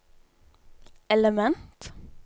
element